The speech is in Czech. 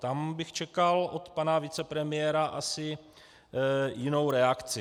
Tam bych čekal od pana vicepremiéra asi jinou reakci.